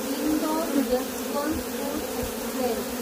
Indore, Yesvantpur express